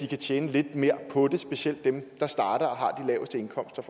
kan tjene lidt mere på det specielt dem der starter og har de laveste indkomster